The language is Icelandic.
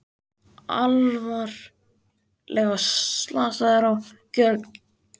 Alvarlega slasaðir á gjörgæslu